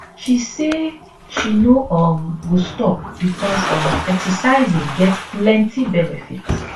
she say she no um go stop becos um exercising get plenty benefit